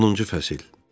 Onuncu fəsil.